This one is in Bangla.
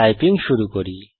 টাইপিং শুরু করি